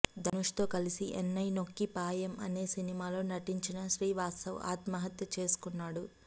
ధనుష్ తో కలిసి ఎన్నై నొక్కి పాయమ్ అనే సినిమాలో నటించిన శ్రీ వాత్సవ్ ఆత్మహత్య చేసుకున్నాడు